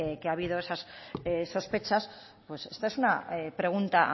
que ha habido esas sospechas pues esta es una pregunta